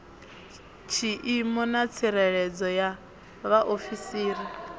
tshiimo na tsireledzo ya vhaofisiri